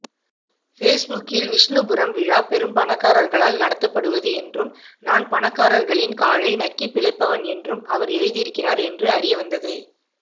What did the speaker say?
பேஸ்புக்கில் விஷ்ணுபுரம் விழா பெரும்பணக்காரர்களால் நடத்தப்படுவது என்றும் நான் பணக்காரர்களின் காலை நக்கிப்பிழைப்பவன் என்றும் அவர் எழுதியிருக்கிறார் என்று அறியவந்தது